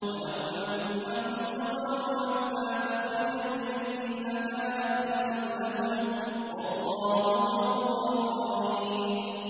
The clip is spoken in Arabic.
وَلَوْ أَنَّهُمْ صَبَرُوا حَتَّىٰ تَخْرُجَ إِلَيْهِمْ لَكَانَ خَيْرًا لَّهُمْ ۚ وَاللَّهُ غَفُورٌ رَّحِيمٌ